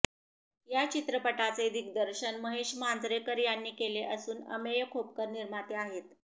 या चित्रपटाचे दिग्दर्शन महेश मांजरेकर यांनी केले असून अमेय खोपकर निर्माते आहेत